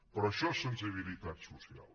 però això és sensibilitat social